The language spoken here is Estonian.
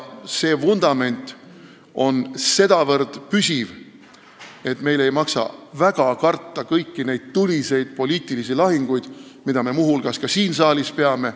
See vundament on sedavõrd püsiv, et meil ei maksa eriti karta kõiki neid tuliseid poliitilisi lahinguid, mida me muu hulgas ka siin saalis peame.